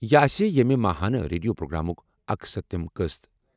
یہِ آسہِ ییٚمہِ ماہانہ ریڈیو پروگرامُک 71 ہِم قٕسٕم۔